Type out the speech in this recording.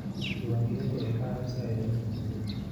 Diiwaangelintu waxay ka caawisaa ilaalinta hantida.